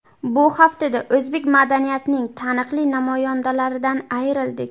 Bu haftada o‘zbek madaniyatining taniqli namoyandalaridan ayrildik.